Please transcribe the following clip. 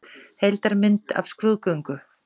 Heildarmynd af skrúðgöngu.